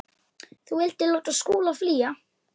Þú vildir láta Skúla flýja.